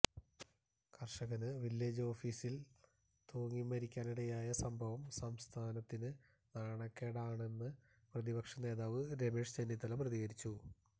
കര്ഷകന് വില്ലേജ് ഓഫീസില് തൂങ്ങിമരിക്കാനിടയായ സംഭവം സംസ്ഥാനത്തിന് നാണക്കേടാണെന്ന് പ്രതിപക്ഷ നേതാവ് രമേശ് ചെന്നിത്തല പ്രതികരിച്ചു